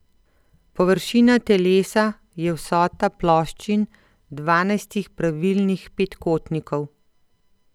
Površina telesa je vsota ploščin dvanajstih pravilnih petkotnikov.